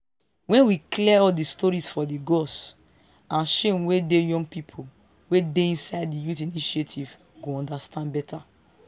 wen we clear all de stories for di gods and shame wey dey young people wey dey inside di youth initiative go understand better